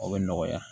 O bɛ nɔgɔya